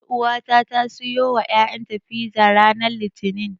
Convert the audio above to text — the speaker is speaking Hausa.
Ƴauwata ta siyo wa ƴaƴanta fiza ranar Litinin.